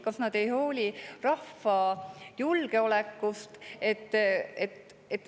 Kas nad ei hooli rahva julgeolekust?